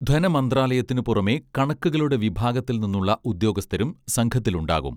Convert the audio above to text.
ധനമന്ത്രാലയത്തിനു പുറമെ കണക്കുകളുടെ വിഭാഗത്തിൽനിന്നുള്ള ഉദ്യോഗസ്ഥരും സംഘത്തിലുണ്ടാവും